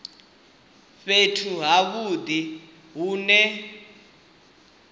fhethu ha vhudi hu ne